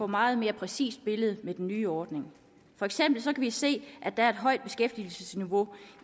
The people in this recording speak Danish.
meget mere præcist billede med den nye ordning for eksempel kan vi se at der er et højt beskæftigelsesniveau